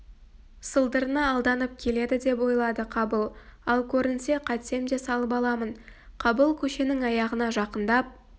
сылдырына алданып келеді деп ойлады қабыл ал көрінсе қайтсем де салып аламын қабыл көшенің аяғына жақындап